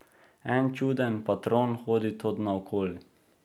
En čuden patron hodi tod naokoli.